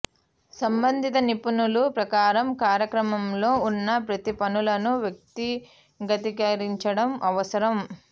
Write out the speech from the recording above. సంబంధిత నిపుణుల ప్రకారం కార్యక్రమంలో ఉన్న ప్రతి పనులను వ్యక్తిగతీకరించడం అవసరం